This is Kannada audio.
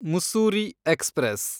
ಮುಸ್ಸೂರಿ ಎಕ್ಸ್‌ಪ್ರೆಸ್